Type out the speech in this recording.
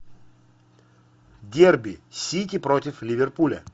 дерби сити против ливерпуля